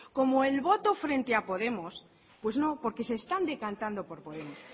como el voto frente a podemos pues no porque se están decantando por podemos